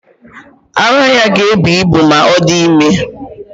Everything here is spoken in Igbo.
Ara ya ga-ebu ibu ma ọ dị ime.